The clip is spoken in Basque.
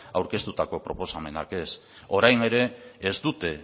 aurkeztutako proposamenak ez orain ere ez dute